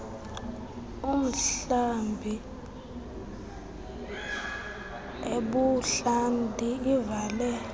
umhlambi ebuhlanti ivale